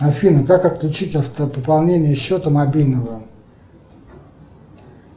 афина как отключить автопополнение счета мобильного